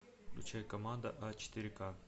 включай команда а четыре ка